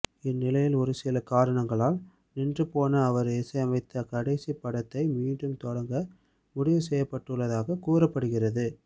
இந்நிலையில் ஒருசில காரணங்களால் நின்றுபோன அவர் இசையமைத்த கடைசி படத்தை மீண்டும் தொடங்க முடிவு செய்யப்பட்டுள்ளதாக கூறப்படுகிறது